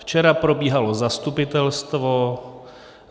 Včera probíhalo zastupitelstvo.